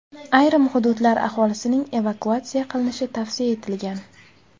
Ayrim hududlar aholisining evakuatsiya qilinishi tavsiya etilgan.